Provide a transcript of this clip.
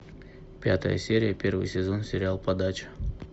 пятая серия первый сезон сериал подача